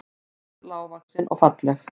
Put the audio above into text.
Ljóshærð, lágvaxin og falleg